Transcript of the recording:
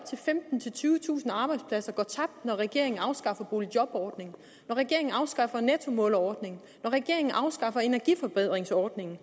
til femtentusind tyvetusind arbejdspladser går tabt når regeringen afskaffer boligjobordningen når regeringen afskaffer nettomålerordningen når regeringen afskaffer energiforbedringsordningen